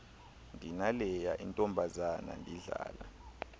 ndinaleya intombazana ndidlala